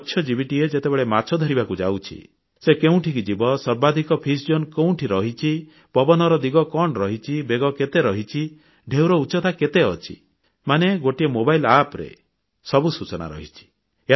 ମତ୍ସ୍ୟଜୀବୀଟି ଯେତେବେଳେ ମାଛ ଧରିବାକୁ ଯାଉଛି ସେ କେଉଁଠିକୁ ଯିବ ସର୍ବାଧିକ ଫିଶ୍ ଜୋନ୍ ବା ମତ୍ସ୍ୟ ଅଞ୍ଚଳ କେଉଁଠି ରହିଛି ପବନର ଦିଗ କଣ ରହିଛି ବେଗ କେତେ ରହିଛି ଢ଼େଉର ଉଚ୍ଚତା କେତେ ଅଛି ମାନେ ଗୋଟିଏ ମୋବାଇଲ ଆପ ରେ ସବୁ ସୂଚନା ରହିଛି